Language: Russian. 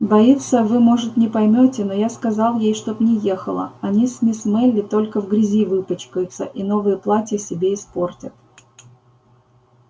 боится вы может не поймёте но я сказал ей чтоб не ехала они с мисс мелли только в грязи выпачкаются и новые платья себе испортят